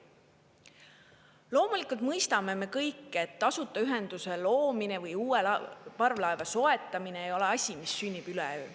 Loomulikult mõistame me kõik, et tasuta ühenduse loomine või uue parvlaeva soetamine ei ole asi, mis sünnib üleöö.